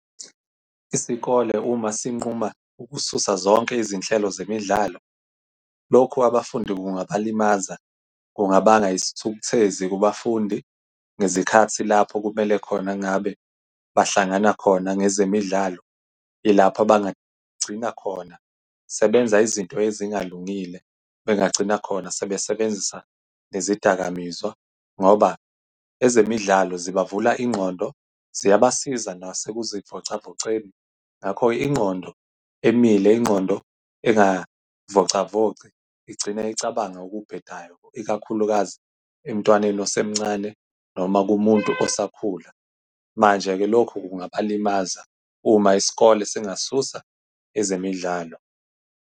Isikole uma sinquma ukususa zonke izinhlelo zemidlalo, lokhu abafundi kungabalimaza. Kungabanga isithukuthezi kubafundi ngezikhathi lapho kumele khona ngabe bahlangana khona ngezemidlalo, ilapho abangagcina khona sebenza izinto ezingalungile. Bengagcina khona sebesebenzisa nezidakamizwa ngoba ezemidlalo zibavulwa ingqondo, ziyabasiza nase ukuzivocavoceni. Ngakho-ke ingqondo emile, ingqondo engay'vocavoci, igcine icabange okubhedayo, ikakhulukazi emntwaneni osemncane noma kumuntu osakhula. Manje-ke lokhu kungaba limaza uma isikole singasusa ezemidlalo.